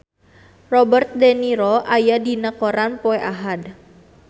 Robert de Niro aya dina koran poe Ahad